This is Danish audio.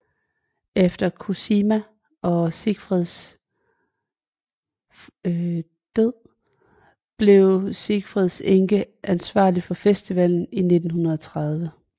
Efter Cosima og Siegfrieds død blev Siegfrieds enke ansvarlig for festivalen i 1930